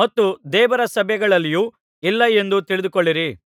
ಮತ್ತು ದೇವರ ಸಭೆಗಳಲ್ಲಿಯೂ ಇಲ್ಲ ಎಂದು ತಿಳಿದುಕೊಳ್ಳಿರಿ